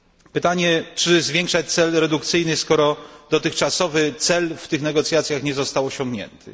Pytanie czy zwiększać cel redukcyjny skoro dotychczasowy cel w tych negocjacjach nie został osiągnięty?